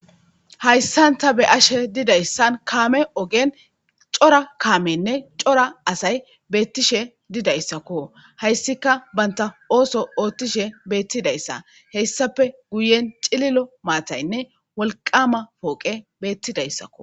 Haysan Ta Be'ashe Didaysan Kaame Ogen Cora Kaamenne Cora Asay Betishe Didaysakko Haysika Banta Ooththo Oothishe Beththidaysa Hesappe Guyen Cililo Mataynne Wolqama Pooqe Bethidaysako